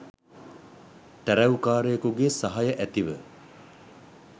තැ‍රැව්කාරයෙකුගේ සහය ඇතිව